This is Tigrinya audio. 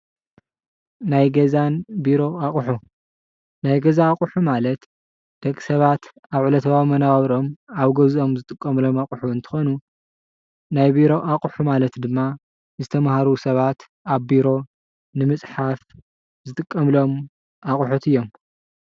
ናይ ገዛን ቢሮን ኣቁሑ ናይ ገዛ ኣቁሑ ማለት ደቂ ሰባት ኣብ ዕለታዊ መናባብሮኦም ኣብ ገዝኦም ዝጥቀሙሉ ኣቁሑ እንትኮኑ፣ ናይ ቢሮ ኣቁሑ ማለት ድማ ዝተማሃሩ ሰባት ኣብ ቢሮ ንምፅሓፍ ዝጥቀሙሎም ኣቁሑት እዮም።